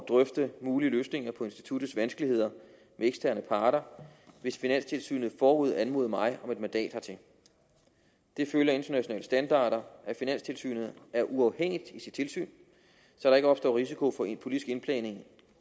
drøfte mulige løsninger på instituttets vanskeligheder med eksterne parter hvis finanstilsynet forud anmoder mig om et mandat hertil det følger af internationale standarder at finanstilsynet er uafhængigt i sit tilsyn så der ikke opstår risiko for en politisk indblanding